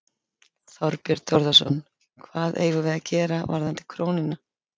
Þorbjörn Þórðarson: Hvað eigum við að gera varðandi krónuna?